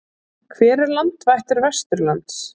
Hver er landvættur vesturlands?